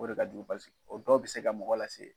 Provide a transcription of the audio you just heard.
O de ka juru o dɔw bɛ se ka mɔgɔ lase.